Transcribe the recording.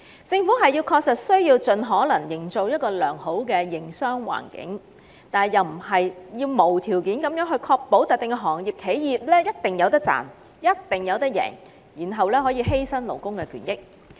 政府確須盡力營造一個良好的營商環境，但並非無條件確保某些行業/企業必定會有盈利，甚至為此犧牲勞工的權益。